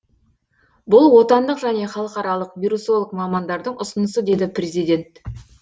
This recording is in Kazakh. бұл отандық және халықаралық вирусолог мамандардың ұсынысы деді президент